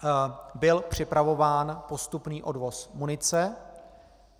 Byl připravován postupný odvoz munice.